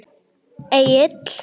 Nei Egill.